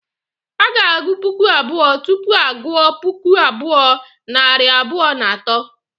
A ga-agụ puku abụọ, tupu a gụ gụọ puku abụọ, nari abụọ na atọ